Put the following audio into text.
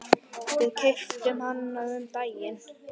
Við keyptum hann um daginn.